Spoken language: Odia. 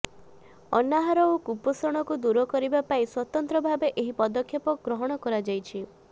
ଅନାହାର ଓ କୁପୋଷଣକୁ ଦୂର କରିବା ପାଇଁ ସ୍ୱତନ୍ତ୍ରଭାବେ ଏହି ପଦକ୍ଷେପ ଗ୍ରହଣ କରାଯାଇଛି